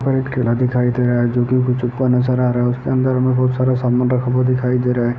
वहां एक ठेला दिखाई दे रहा है जो कि नजर आ रहा है उसके अंदर मे बहुत सारा सामान रखा हुआ दिखाई दे रहा है।